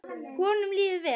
Honum líður vel.